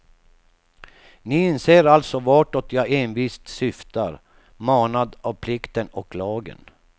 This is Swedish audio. Ni inser alltså vartåt jag envist syftar, manad av plikten och lagen.